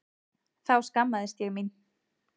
Þá skammaðist ég mín.